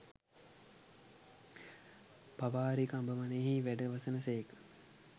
පාවාරික අඹ වනයෙහි වැඩවසන සේක